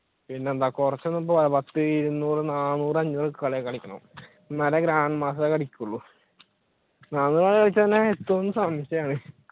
പിന്നെന്താ കുറച്ചു ഒന്നും പോരാ പത്തു ഇരുന്നൂറ് നാന്നൂറ് അഞ്ഞൂറ് കളിയൊക്കെ കളിക്കണം എന്നാലേ grandmaster അടിക്കൂള് എത്തൂന്ന് സംശയമാണ്